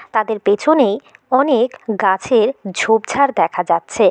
তাদের পেছনেই অনেক গাছের ঝোপঝাড় দেখা যাচ্ছে ।